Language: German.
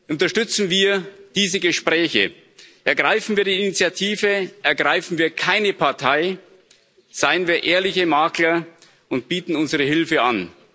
Unterstützen wir diese Gespräche, ergreifen wir die Initiative, ergreifen wir keine Partei, seien wir ehrliche Makler und bieten unsere Hilfe an.